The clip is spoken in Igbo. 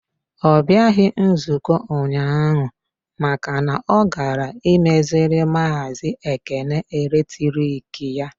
Ọ bịaghị nzukọ ụnyaahụ maka na ọ gara imeziri maazi Ekene eletrik ya.